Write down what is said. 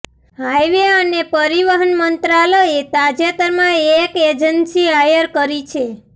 highway અને પરિવહન મંત્રાલયએ તાજેતરમાં એક એજન્સી હાયર કરી છે